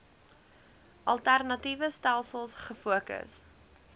alternatiewe stelsels gefokus